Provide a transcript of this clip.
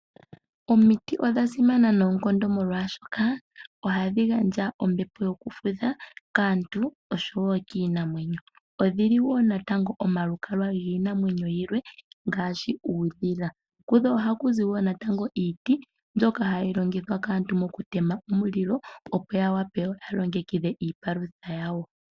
Omiti odha simana noonkondo molwaashoka ohadhi gandja ombepo yokufudha kaantu oshowo kiinamwenyo. Odhili wo natango omalukalwa giinamwenyo yilwe, ngaashi uudhila. Kudho ohaku zi wo natango iiti, mbyoka hayi longithwa kaantu mokutema omulilo, opo ya wape yalongekidhe iipalutha yawo.